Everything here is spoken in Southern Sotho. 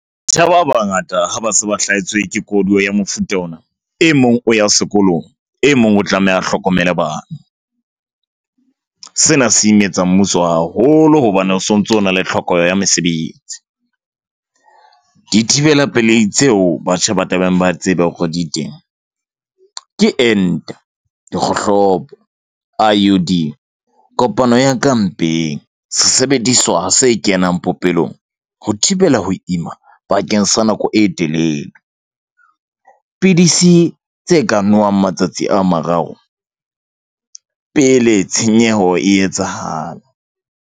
ba bangata ha ba se ba hlahetswe ke koduwa ya mofuta ona. E mong o ya sekolong e mong o tlameha a hlokomele bana. Sena se imetsa mmuso haholo hobane o sontso o na le tlhoko ya mesebetsi. Dithibela pelei tseo batjha ba tlamehang ba tsebe hore di teng. Ke ente, ke kgohlopo, I_U_D, kopano ya ka mpeng sesebediswa se kenang popelong ho thibela ho ima bakeng sa nako e telele. Pidisi tse ka nowang matsatsi a mararo pele tshenyeho e etsahala.